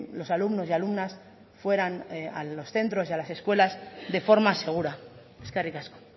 los alumnos y alumnas fueran a los centros y a las escuelas de forma segura eskerrik asko